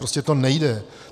Prostě to nejde.